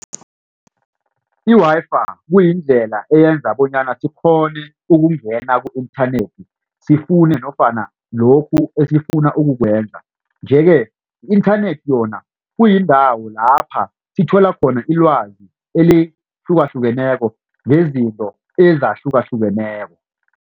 I-Wi-Fi kuyindlela eyenza bonyana sikghone ukungena ku-inthanethi sifune nofana lokhu esifuna ukukwenza nje ke i-inthanethi yona kuyindawo lapha sithola khona ilwazi elihlukahlukeneko ngezinto ezahlukahlukeneko.